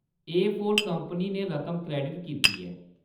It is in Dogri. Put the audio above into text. एफोर कंपनी ने रकम क्रेडिट कीती ऐ।